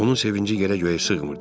Onun sevinci yerə-göyə sığmırdı.